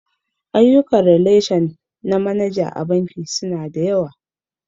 Ayyukan ralashin manaja a banki suna da yawa.